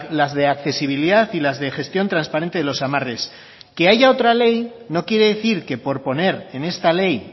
las de accesibilidad y las de gestión transparente de los amarres que haya otra ley no quiere decir que por poner en esta ley